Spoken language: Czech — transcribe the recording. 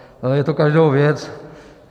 Je to každého věc.